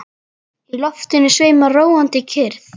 Í loftinu sveimar róandi kyrrð.